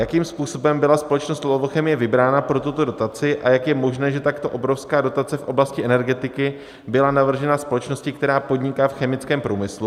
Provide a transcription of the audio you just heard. Jakým způsobem byla společnost Lovochemie vybrána pro tuto dotaci a jak je možné, že takto obrovská dotace v oblasti energetiky byla navržena společnosti, která podniká v chemickém průmyslu?